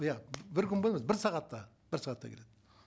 иә бір күн бойы емес бір сағатта бір сағатта кетеді